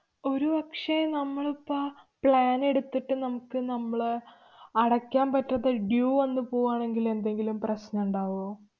ഒരു പക്ഷേ നമ്മള് ഇപ്പ plan എടുത്തിട്ട് നമ്മക്ക് നമ്മളെ അടയ്ക്കാന്‍ പറ്റാത്ത due വന്നു പോവാണെങ്കില്‍ എന്തെങ്കിലും പ്രശ്നമുണ്ടാവോ?